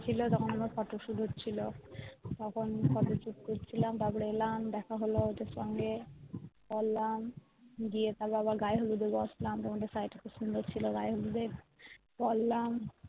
ছিল তখন আবার photo shoot হচ্ছিলো তখন photo shoot করছিলাম তারপর এলাম দেখা হলো ওদের সঙ্গে চললাম গিয়ে আবার গায়ে হলুদে বসলাম তোমাদের শাড়িটা খুব সুন্দর ছিল গায়ে হলুদের পড়লাম